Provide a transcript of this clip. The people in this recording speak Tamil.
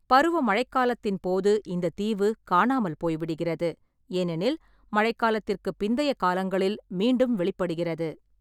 பருவ மழைக் காலத்தின் போது இந்த தீவு காணாமல் போய்விடுகிறது, ஏனெனில் மழைக்காலத்திற்குப் பிந்தைய காலங்களில் மீண்டும் வெளிப்படுகிறது.